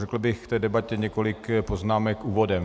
Řekl bych k té debatě několik poznámek úvodem.